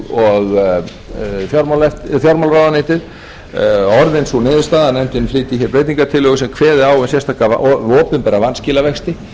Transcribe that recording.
og fjármálaráðuneytið orðin sú niðurstaða að nefndin flytji hér breytingartillögu sem kveði á um sérstaka opinbera vanskilavexti sem